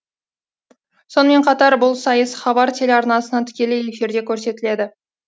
сонымен қатар бұл сайыс хабар телеарнасынан тікелей эфирде көрсетіледі